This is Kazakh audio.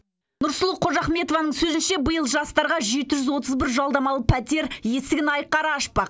нұрсұлу қожахметованың сөзінше биыл жастарға жеті жүз отыз бір жалдамалы пәтер есігін айқара ашпақ